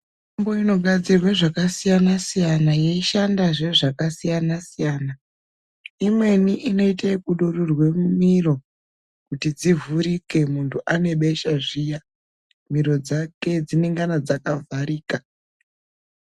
Mitombo inogadzirwe zvakasiyana siyana yeishandazve zvakasiyana siyana. Imweni inoite kudururirwa mumiro kuti dzivhurike muntu ane besha zviya miro dzake dzinengana dzakavharika.